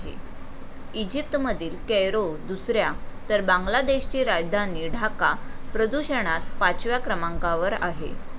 इजिप्तमधील Cairo दुसऱ्या तर बांगलादेशची राजधानी ढाका प्रदूषणात पाचव्या क्रमांकावर आहे.